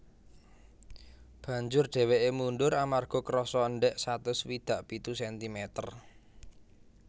Banjur dhèwèké mundur amarga kerasa endhèk satus swidak pitu sentimeter